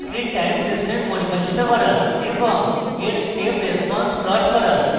discrete time system পরিভাষিত করা এবং এর step response plot করা